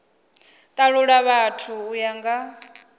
talula vhathu u ya nga